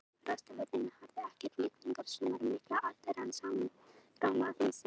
Frostaveturinn harði, ekkert Rigningarsumarið mikla, allt rann saman í gráma himinsins.